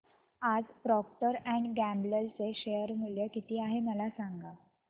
आज Procter and Gamble चे share मूल्य किती आहे मला सांगा